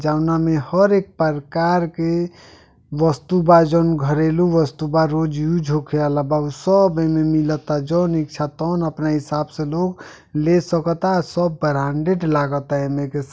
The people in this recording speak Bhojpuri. जौना मे हर एक परका के वस्तु बा जउन घरेलू वस्तु बा रोज यूज होके आला बा ऊ सब एमें मिलता जउन इच्छा तउन अपने हिसाब से लोग ले सकता आ सब ब्रांडेड लागत एमें के --